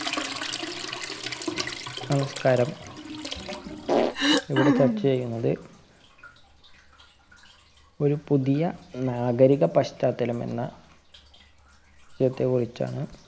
നമസ്കാരം ഇവിടെ ചര്‍ച്ച ചെയ്യുന്നത് ഒരു പുതിയ നാഗരിക പശ്ചാത്തലം എന്ന വിഷയത്തെ കുറിച്ചാണ്.